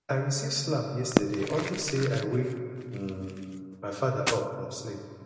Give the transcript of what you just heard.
i receive slap yesterday unto say i wake um my father up from sleep